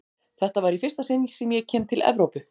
Þetta var í fyrsta sinn sem ég kem til Evrópu.